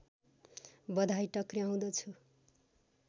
बधाई टक्र्याउँदछु